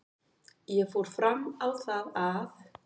Ég fór fram á það að